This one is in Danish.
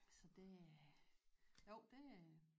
Så det jo det